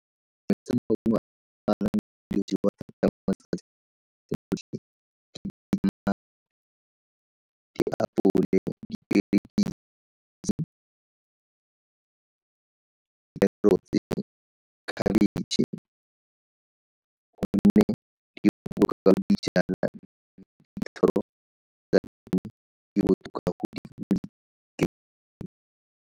Tse maungo a ke a boemo carrots-e, khebitšhe, .